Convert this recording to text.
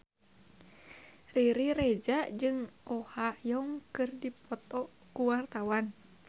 Riri Reza jeung Oh Ha Young keur dipoto ku wartawan